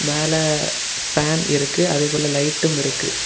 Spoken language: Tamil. மேலே பேன் இருக்கு அதேபோல லைட்டும் இருக்கு.